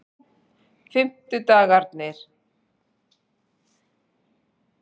fimmtudagarnir